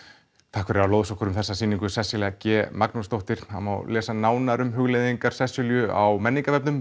takk fyrir að lóðsa okkur um þessa sýningu Sesselja g Magnúsdóttir það má lesa nánar um hugleiðingar Sesselju á